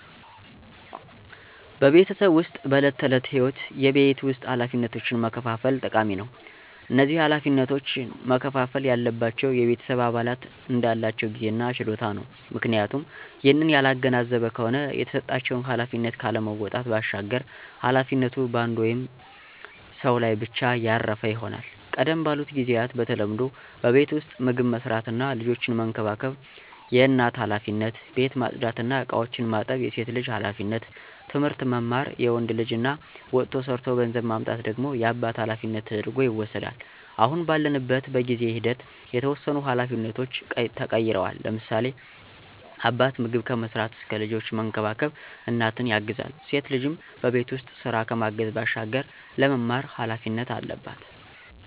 በቤተሰብ ዉስጥ በዕለት ተዕለት ህይወት የቤት ውስጥ ኃላፊነቶችን መከፋፈል ጠቃሚ ነው። እነዚህ ኃላፊነቶች መከፍፈል ያለባቸው የቤተሰብ አባላት እንዳላቸው ጊዜ እና ችሎታ ነው፤ ምክንያቱም ይህንን ያላገናዘበ ከሆነ የተሰጣቸውን ኃላፊነት ካለመወጣት ባሻገር ኃላፊነቱ በአንድ ወይም ሰው ላይ ብቻ ያረፈ ይሆናል። ቀደም ባሉት ጊዚያት በተለምዶ በቤት ዉስጥ ምግብ መስራት እና ልጆችን መንከባከብ የእናት ኃላፊነት፣ ቤት ማፅዳት እና እቃዎችን ማጠብ የሴት ልጅ ኃላፊነት፣ ትምህርት መማር የወንድ ልጅ እና ወጥቶ ሠርቶ ገንዘብ ማምጣት ደግሞ የአባት ኃላፊነት ተደርጐ ይወስዳል። አሁን ባለንበት በጊዜ ሂደት የተወሰኑ ኃላፊነቶች ተቀይረዋል፤ ለምሳሌ፦ አባት ምግብ ከመስራት እስከ ልጆችን መንከባከብ እናትን ያግዛል፣ ሴት ልጅም በቤት ውስጥ ስራ ከማገዝ ባሻገር ለመማር ኃላፊነት አለባት።